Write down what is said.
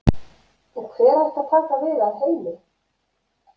En hver ætti að taka við af Heimi?